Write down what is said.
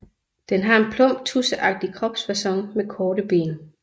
Den har en plump tudseagtig kropsfacon med korte ben